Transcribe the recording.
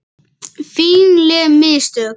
Fínleg mistök.